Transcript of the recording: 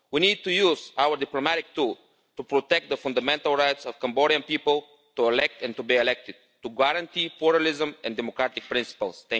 We need to use our diplomatic tools to protect the fundamental rights of Cambodian people to elect and to be elected, to guarantee pluralism and democratic principles.